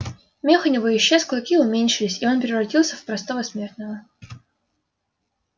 мех у него исчез клыки уменьшились и он превратился в простого смертного